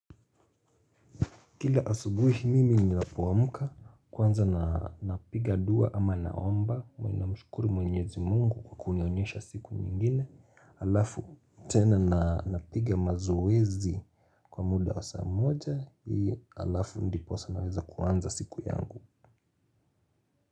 Kila asubuhi mimi ninapoamka kwanza napiga dua ama naomba huwa na mshukuru mwenyezi Mungu kwa kunionyesha siku nyingine alafu tena napiga mazoezi kwa muda wa saa moja alafu ndiposa naweza kwanza siku yangu.